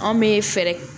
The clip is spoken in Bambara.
Anw bɛ fɛɛrɛ